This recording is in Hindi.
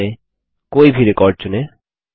सबफॉर्म में कोई भी रिकॉर्ड चुनें